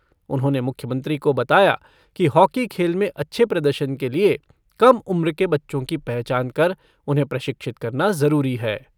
उन्होंने मुख्यमंत्री को बताया कि हॉकी खेल में अच्छे प्रदर्शन के लिए कम उम्र के बच्चों की पहचान कर उन्हें प्रशिक्षित करना जरुरी है।